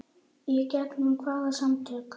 Í gegnum hvaða samtök?